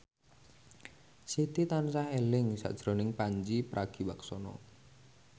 Siti tansah eling sakjroning Pandji Pragiwaksono